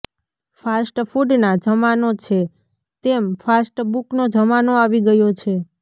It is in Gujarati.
ફાસ્ટફુડના જમાનો છે તેમ ફાસ્ટબુકનો જમાનો આવી ગયો છે